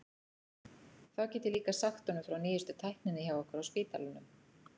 Þá get ég líka sagt honum frá nýjustu tækninni hjá okkur á spítalanum.